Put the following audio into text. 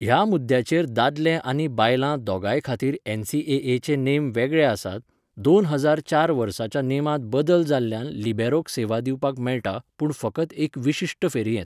ह्या मुद्द्याचेर दादले आनी बायलां दोगांय खातीर एनसीएएचे नेम वेगळे आसात, दोन हजार चार वर्साच्या नेमांत बदल जाल्ल्यान लिबेरोक सेवा दिवपाक मेळटा, पूण फकत एका विशिश्ट फेरयेंत.